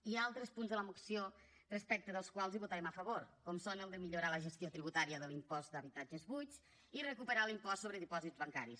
hi ha altres punts de la moció respecte dels quals votarem a favor com són el de millorar la gestió tributària de l’impost d’habitatges buits i recuperar l’impost sobre dipòsits bancaris